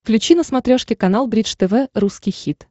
включи на смотрешке канал бридж тв русский хит